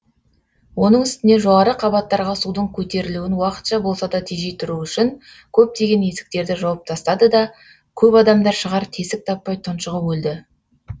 оның үстіне жоғары қабаттарға судың көтерілуін уақытша болса да тежей тұру үшін көптеген есіктерді жауып тастады да көп адамдар шығар тесік таппай тұншығып өлді